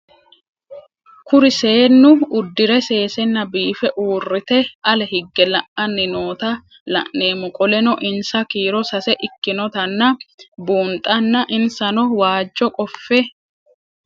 Kuri seenu udire sesena biife urite ale hige la'ani noota la'nemo qoleno insa kiiro sase ikinotana bunxana insano waajo qofe